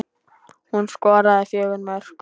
Hún skoraði fjögur mörk.